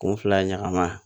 Kun fila ɲagamana